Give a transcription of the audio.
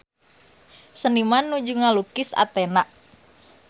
Seniman nuju ngalukis Athena